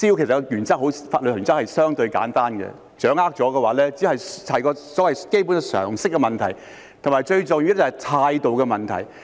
有關滋擾的法律原則相對簡單，如果掌握了，這只是所謂基本常識的問題，以及最重要的是態度的問題。